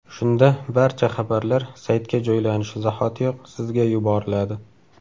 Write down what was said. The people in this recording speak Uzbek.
Shunda barcha xabarlar saytga joylanishi zahotiyoq sizga yuboriladi.